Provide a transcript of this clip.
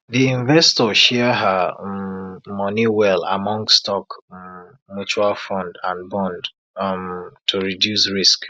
the investor share her um money well among stock um mutual fund and bond um to reduce risk